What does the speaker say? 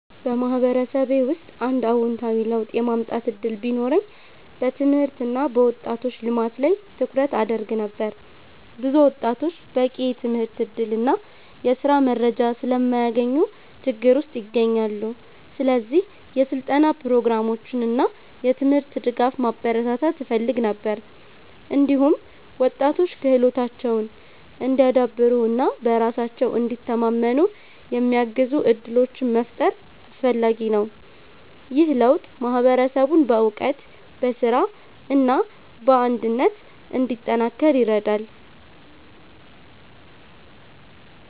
በማህበረሰቤ ውስጥ አንድ አዎንታዊ ለውጥ የማምጣት እድል ቢኖረኝ በትምህርት እና በወጣቶች ልማት ላይ ትኩረት አደርግ ነበር። ብዙ ወጣቶች በቂ የትምህርት እድል እና የስራ መረጃ ስለማያገኙ ችግር ውስጥ ይገኛሉ። ስለዚህ የስልጠና ፕሮግራሞችን እና የትምህርት ድጋፍ ማበረታታት እፈልግ ነበር። እንዲሁም ወጣቶች ክህሎታቸውን እንዲያዳብሩ እና በራሳቸው እንዲተማመኑ የሚያግዙ እድሎችን መፍጠር አስፈላጊ ነው። ይህ ለውጥ ማህበረሰቡን በእውቀት፣ በስራ እና በአንድነት እንዲጠናከር ይረዳል።